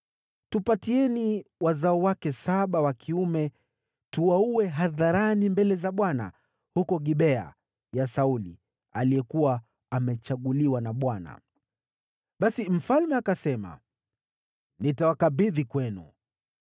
tupatieni wazao wake saba wa kiume tuwaue hadharani mbele za Bwana huko Gibea ya Sauli, aliyekuwa amechaguliwa na Bwana .” Basi mfalme akasema, “Nitawakabidhi kwenu.”